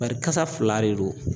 Bari kasa fila de don.